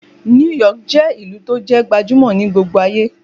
New York je ìlú to jẹ́ gbajumo ni gbogbo aye